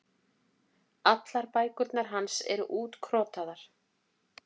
Allar bækurnar hans eru útkrotaðar.